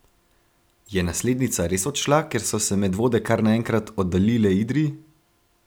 Je naslednica res odšla, ker so se Medvode kar naenkrat oddaljile Idriji?